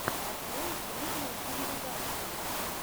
открой древние цивилизации